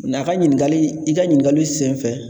Nka a ka ɲininkali i ka ɲininkali senfɛ